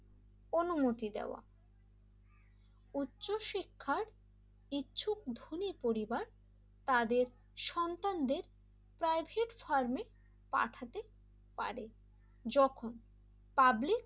অনুমতি দেওয়া উচ্চশিক্ষার কিছু ধনী পরিবার তাদের সন্তানদের প্রাইভেট ফার্মে পাঠাতে পারে যখন পাবলিক,